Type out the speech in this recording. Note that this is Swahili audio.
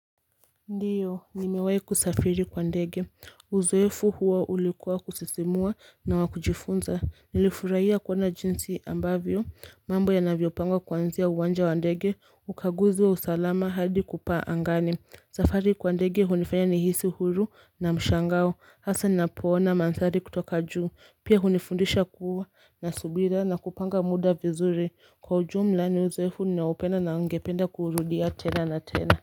Ndiyo nimewahi kusafiri kwa ndege Uzoefu huo ulikuwa kusisimua na wa kujifunza. Nilifurahia kuona jinsi ambavyo mambo yanavyopangwa kuanzia uwanja ndege, ukaguzi wa usalama hadi kupaa angani safari kwa ndege hunifanya nihisi huru na mshangao hasa ninapoona mandhari kutoka juu. Pia hunifundisha kuwa na subira na kupanga muda vizuri. Kwa ujumla ni uzoefu ninaopenda na ningependa kuurudia tena na tena.